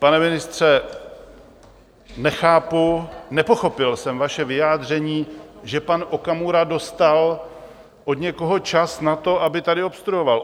Pane ministře, nechápu, nepochopil jsem vaše vyjádření, že pan Okamura dostal od někoho čas na to, aby tady obstruoval.